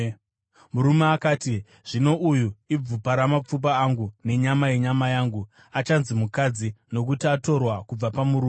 Murume akati, “Zvino uyu ibvupa ramapfupa angu nenyama yenyama yangu; achanzi ‘mukadzi’, nokuti akatorwa kubva pamurume.”